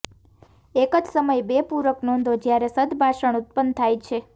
એક જ સમયે બે પૂરક નોંધો જ્યારે સદભાષણ ઉત્પન્ન થાય છે